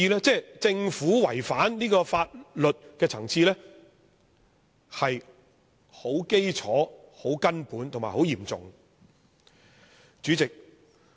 政府違反這項法律的層次是很基礎、很根本和很嚴重的。